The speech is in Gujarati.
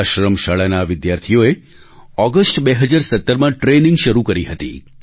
આશ્રમ શાળાના આ વિદ્યાર્થીઓએ ઑગસ્ટ 2017માં ટ્રેનિંગ શરૂ કરી હતી